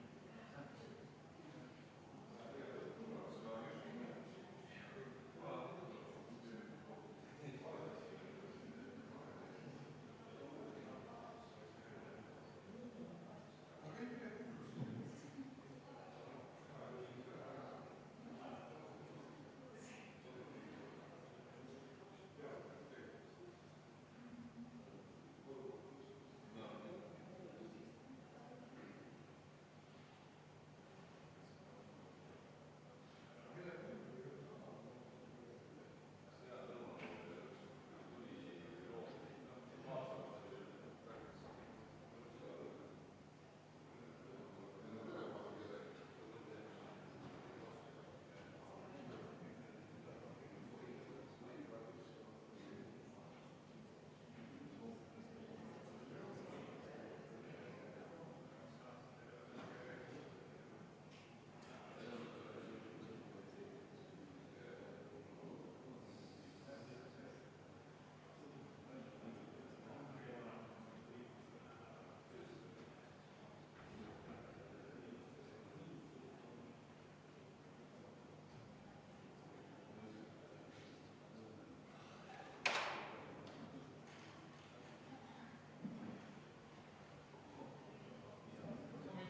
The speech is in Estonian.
Head kolleegid!